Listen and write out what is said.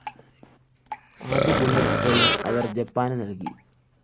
ആദ്യ bullet train അവര്‍ ജപ്പാന് നല്‍കി